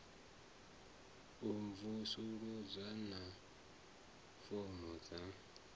a mvusuludzo na fomo dza